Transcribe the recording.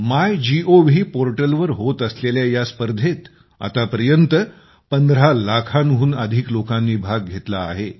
MyGov पोर्टलवर होत असलेल्या या स्पर्धेत आतापर्यंत 15 लाखांहून अधिक लोकांनी भाग घेतला आहे